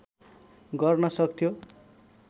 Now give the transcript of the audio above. गर्न सक्थ्यो